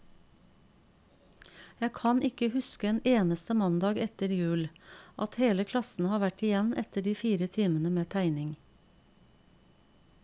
Jeg kan ikke huske en eneste mandag etter jul, at hele klassen har vært igjen etter de fire timene med tegning.